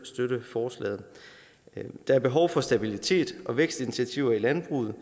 støtte forslaget der er behov for stabilitet og vækstinitiativer i landbruget